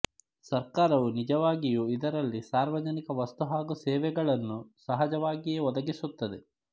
ಸರ್ಕಾರವು ನಿಜವಾಗಿಯೂ ಇದರಲ್ಲಿ ಸಾರ್ವಜನಿಕ ವಸ್ತು ಹಾಗೂ ಸೇವೆಗಳನ್ನು ಸಹಜವಾಗಿಯೇ ಒದಗಿಸುತ್ತದೆ